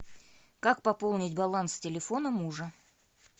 как пополнить баланс телефона мужа